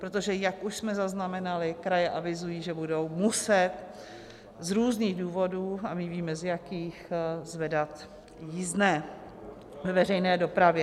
Protože jak už jsme zaznamenali, kraje avizují, že budou muset z různých důvodů, a my víme, z jakých, zvedat jízdné ve veřejné dopravě.